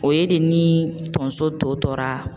O ye de ni tonso tɔ tora